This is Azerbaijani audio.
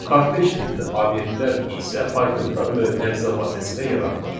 Kortej tipli obyektlər isə Pythonda mötərizə vasitəsilə yaradılır.